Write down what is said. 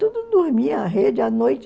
Tudo dormia, a rede, à noite...